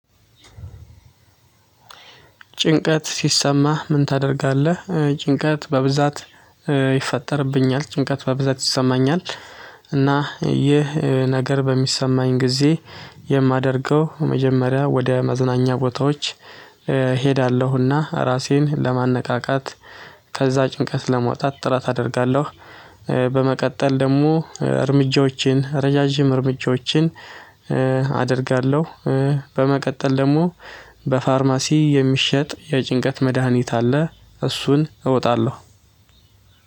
ጭንቀት ሲሰማህ ምን ታደርጋለህ? ጭንቀት በብዛት ይፈጠርብኛል ጭንቀት በበዛት ይሰማኛል። እና ይህ ነገር በሚሰማኝ ጊዜ። የማደርገው መጀመሪያ ወደ መዝናኛ ቦታዎች እሄዳለሁና ራሴን ለማነቃቃት። ከዛ ጭንቀት ለመውጣት ጥራት አደርጋለሁ። በመቀጠል ደግሞ እርምጃዎችን ረዣዥም እርምጃዎችን አደርጋለሁ። በመቀጠል ደግሞ በፋርማሲ የሚሸጥ የጭንቀት መድሃኒት አለ እሱን እወጣለሁ።